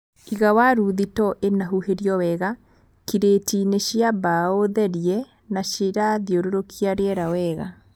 Iga waru thito ĩna huhĩrio wega, kiretiinĩ cia mbaũ therie na cirathiũrũrũkia rĩera wega